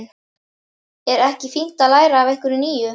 Er ekki fínt að læra af einhverju nýju?